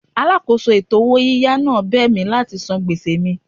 Alákòóso ètò owó yíyá náà bẹ̀ mí láti san gbèsè mi.